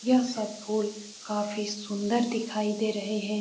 यह सब फूल काफी सुंदर दिखाई दे रहे हैं।